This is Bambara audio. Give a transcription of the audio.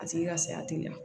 A tigi ka saya tɛ ɲa